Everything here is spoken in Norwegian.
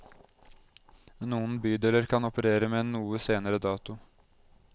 Noen bydeler kan operere med en noe senere dato.